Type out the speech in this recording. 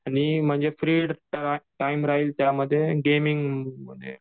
आणि फ्री म्हणजे टाईमध्ये गेमिंग म्हणजे